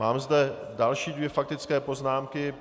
Mám zde další dvě faktické poznámky.